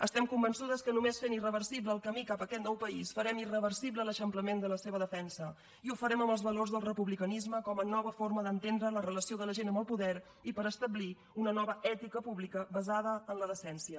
estem convençudes que només sent irreversible el camí cap aquest nou país farem irreversible l’eixamplament de la seva defensa i ho farem amb els valors del republicanisme com a nova forma manera d’entendre la relació de la gent amb el poder i per establir una nova ètica pública basada en la decència